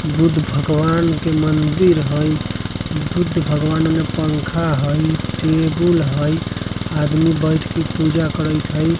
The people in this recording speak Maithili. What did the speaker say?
बुद्ध भगवान के मंदिर हई। बुद्ध भगवान उने पंखा हई टेबुल हई। आदमी बैठ के पूजा करेत हई।